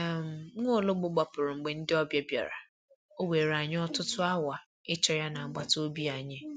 um Nwaologbo gbapụrụ mgbe ndị ọbịa bịara, ọ were anyị ọtụtụ awa ịchọ ya n'agbata obi anyị.